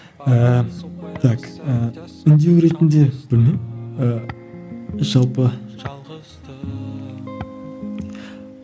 ыыы так ыыы үндеу ретінде білмеймін ыыы жалпы